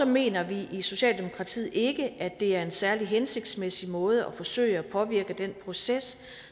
mener vi i socialdemokratiet ikke at det er en særlig hensigtsmæssig måde at forsøge at påvirke den proces